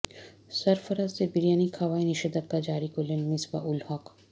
সরফরাজদের বিরিয়ানি খাওয়ায় নিষেধাজ্ঞা জারি করলেন মিসবা উল হক